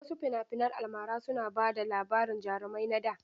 Wasu fina-finan almara suna ba da labarin jarumai na da.